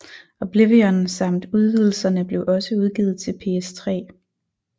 Oblivion samt udvidelserne blev også udgivet til PS3